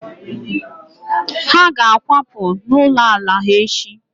Ha ga-akwapụ n'ụlọ ala ha echi